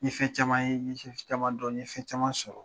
N ye fɛn caman ye n ye fɛn caman dɔn n ye fɛn caman sɔrɔ